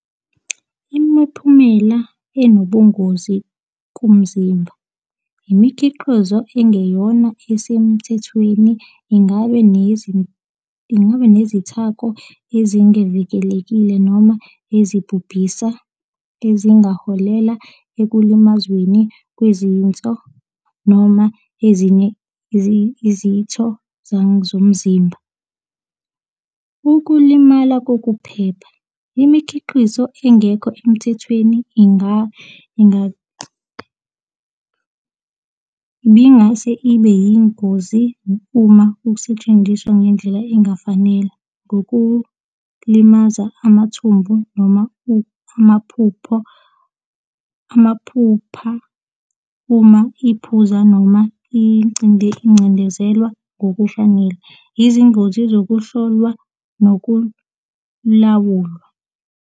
Imiphumela enobungozi kumzimba. Imikhiqizo engeyona esemthethweni, ingaba ingaba nezithako ezingevikelekile noma ezibhubhisa ezingaholela ekulimazweni kwezinso, noma ezinye izitho zomzimba. Ukulimala kokuphepha. Imikhiqizo engekho emthethweni ibingase ibe yingozi uma kusetshenziswa ngendlela engafanele kokulimaza amathumbu noma amaphupho, amaphupha, uma iphuzwa noma incindezelwa ngokufanele. Izingozi zokuhlolwa nokulawulwa.